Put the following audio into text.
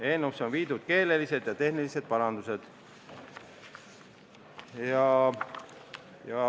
Eelnõusse on tehtud keelelised ja tehnilised parandused.